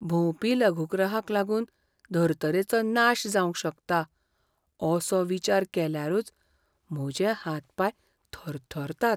भोंवपी लघुग्रहाक लागून धर्तरेचो नाश जावंक शकता, असो विचार केल्यारूच म्हजे हात पाय थरथरतात.